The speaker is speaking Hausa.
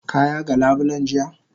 Ka yaga labulen jiya?